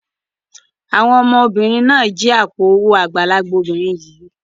Àwọn ọmọbìnrin náà jí àpò-owó àgbàlagbà obìnrin yìí.